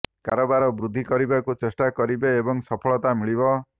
କାରବାର ବୃଦ୍ଧି କରିବାକୁ ଚେଷ୍ଟା କରିବେ ଏବଂ ସଫଳତା ମିଳିବ